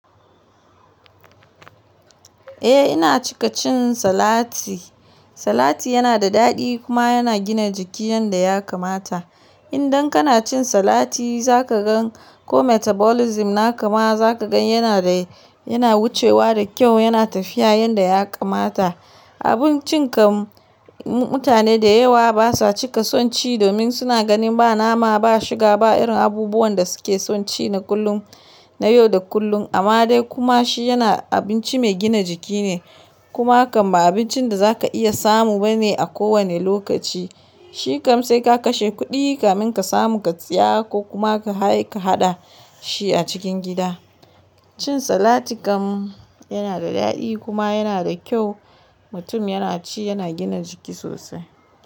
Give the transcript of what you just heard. Eh ina cika cin salati. Salati yana da daɗi kuma yana gina jiki yanda ya kamata. Idan kana cin salati za ka gan ko metabolism na kama za ka gan yana da, yana wucewa da kyau, yana tafiya yanda ya kamata. Abincin kam mutane da yawa basa cika son ci domin suna ganin ba nama ba shiga ba irin abubuwan da suke son ci na kullum, na yau da kullum. Amma dai kuma shi yana abinci mai gina jiki ne. Kuma kam ba abincin da za ka iya samu bane a kowane lokaci. Shi kam sai ka kashe kuɗi kamin ka samu ka tsaya ko kuma ka kai ka haɗa shi a cikin gida. Cin salati kam yana da daɗi kuma yana da kyau. Mutum yana ci yana gina jiki sosai.